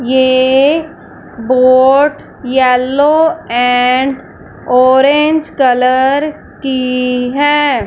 ये boat yellow and orange colour की हैं।